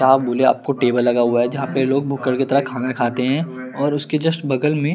यहां आपको टेबल लगा हुआ है जहां पे लोग भुक्कड़ के तरह खाना खाते हैं और उसके जस्ट बगल में--